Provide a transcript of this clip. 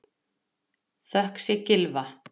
Þökk sé Gylfa